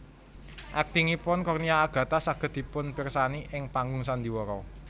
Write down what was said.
Aktingipun Cornelia Agatha saget dipunpirsani ing panggung sandiwara